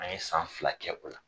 An ye san fila kɛ o la.